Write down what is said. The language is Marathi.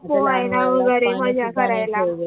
पोहायला वगरे मजा करायला